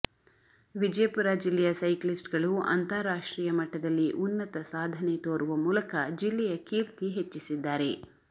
ವಿಜಯಪುರ ಜಿಲ್ಲೆಯ ಸೈಕ್ಲಿಸ್ಟ್ಗಳು ಅಂತಾರಾಷ್ಟ್ರೀಯ ಮಟ್ಟದಲ್ಲಿ ಉನ್ನತ ಸಾಧನೆ ತೋರುವ ಮೂಲಕ ಜಿಲ್ಲೆಯ ಕೀರ್ತಿ ಹೆಚ್ಚಿಸಿದ್ದಾರೆ